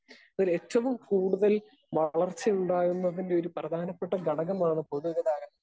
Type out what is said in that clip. Speaker 2 അതിലേറ്റവും കൂടുതൽ വളർച്ചയുണ്ടാകുന്നതിൻ്റെയൊരു പ്രധാനപ്പെട്ട ഘടകമാണ് പൊതുഗതാഗതം.